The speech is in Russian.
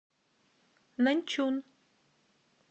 наньчун